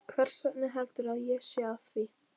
Hversvegna heldurðu að ég sé að því?